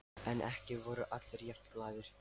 En ekki voru allir jafn glaðir.